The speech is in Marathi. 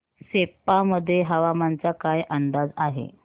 सेप्पा मध्ये हवामानाचा काय अंदाज आहे